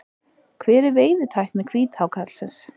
Hver er veiðitækni hvíthákarlsins?